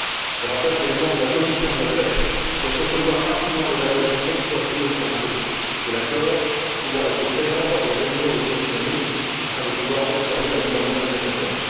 Je rappelle que les membres de la commission de la pêche souhaitent recevoir rapidement l'évaluation ex post in extenso de l'accord et pouvoir être présents lors des réunions des commissions mixtes afin de pouvoir observer la mise en œuvre de cet accord.